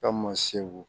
Ka man segu